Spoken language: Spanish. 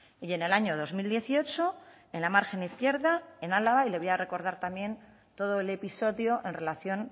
y en el año dos mil dieciocho en la margen izquierda en álava y le voy a recordar también todo el episodio en relación